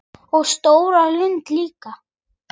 Og stóra lund líka.